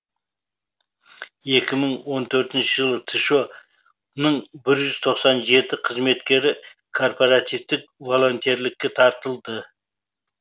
екі мың он төртінші жылы тшо ның бір жүз тоқсан жеті қызметкері корпаративтік волонтерлікке тартылды